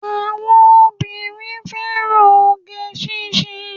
Àwọn obìnrin fẹ́ràn oge síse